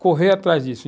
correr atrás disso.